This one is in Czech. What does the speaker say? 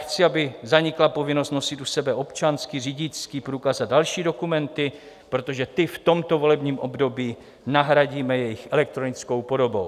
Chci, aby zanikla povinnost nosit u sebe občanský, řidičský průkaz a další dokumenty, protože ty v tomto volebním období nahradíme jejich elektronickou podobou.